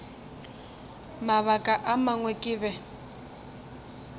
mabaka a mangwe ke be